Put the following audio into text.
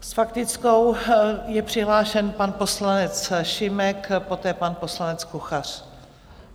S faktickou je přihlášen pan poslanec Šimek, poté pan poslanec Kuchař.